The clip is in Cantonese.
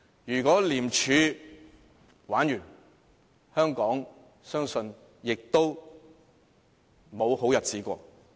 如果廉署"玩完"，相信香港亦沒有好日子過。